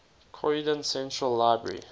croydon central library